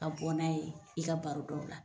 Ka bɔ n'a ye i ka baro daw la